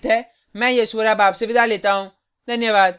यह स्क्रिप्ट प्रभाकर द्वारा अनुवादित है मैं यश वोरा अब आपसे विदा लेता हूँ